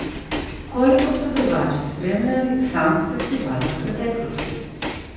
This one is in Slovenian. Koliko ste drugače spremljali sam festival v preteklosti?